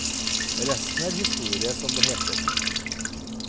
Resten er historie, som det heter.